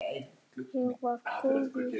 Ég var góð í því.